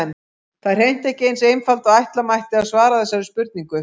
Það er hreint ekki eins einfalt og ætla mætti að svara þessari spurningu.